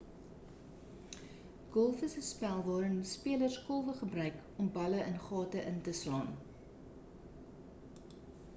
gholf is 'n spel waarin spelers kolwe gebruik om balle in gate in te slaan